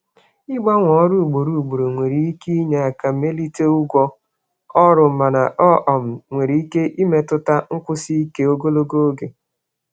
Ịgbanwe ọrụ ugboro ugboro nwere ike inye um aka mee ka ụgwọ ọrụ ka mma mana ọ nwere ike imetụta nkwụsi ike ogologo oge.